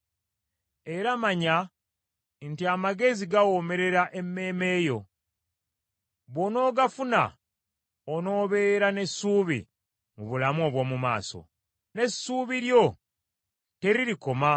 Era manya nti amagezi gawoomera emmeeme yo, bw’onoogafuna onoobeera n’essuubi mu bulamu obw’omu maaso, n’essuubi lyo teririkoma.